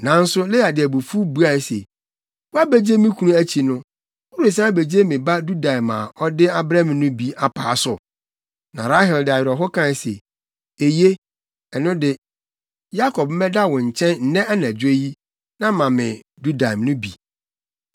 Nanso Lea de abufuw buae se, “Woabegye me kunu akyi no, woresan abegye me ba dudaim a ɔde abrɛ me no bi apaa so?” Na Rahel de awerɛhow kae se, “Eye, ɛno de, Yakob mmɛda wo nkyɛn nnɛ anadwo yi, na ma me dudaim no bi.”